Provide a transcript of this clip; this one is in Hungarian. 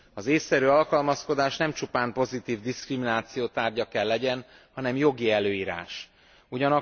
Az ésszerű alkalmazkodás nem csupán pozitív diszkrimináció tárgya kell legyen, hanem jogi előírás is.